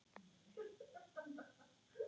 Hún vakir ein.